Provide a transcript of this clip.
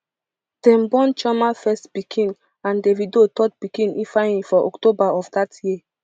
dem born chioma first pikin and davido third pikin ifeanyi for october of dat year